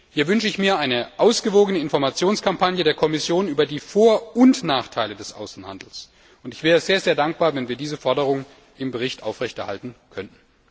Hier wünsche ich mir eine ausgewogene Informationskampagne der Kommission über die Vor und Nachteile des Außenhandels, und ich wäre sehr, sehr dankbar, wenn wir diese Forderung im Bericht aufrechterhalten könnten.